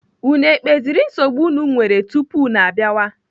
Unu ekpeziri nsogbu unu nwere tupu unu abịawa?